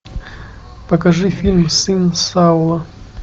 покажи фильм сын саула